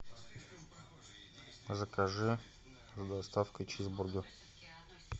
закажи с доставкой чизбургер